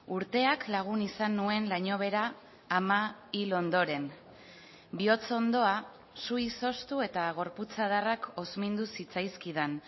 urteak lagun izan nuen lainobehera ama hil ondoren bihotz ondoa su izoztu eta gorputz adarrak hozmindu zitzaizkidan